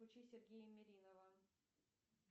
включи сергея меринова